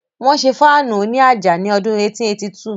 Wọ́n ṣé Fáànù òní àjà ní ọdún 1882